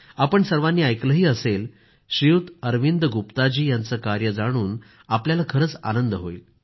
आपण सर्वांनी ऐकलंही असेल अरविंद गुप्ताजी यांचं कार्य जाणून आपल्याला खरंच आनंद होईल